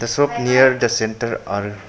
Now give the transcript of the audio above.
The soap near the centre r --